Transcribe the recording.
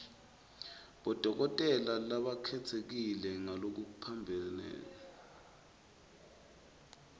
bodokotela labakhetsekile ngalokuphambene